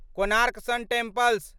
Konark sun temple